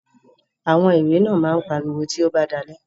Àwọn irẹ̀ náà máa pa ariwo tí ó bá dalẹ́.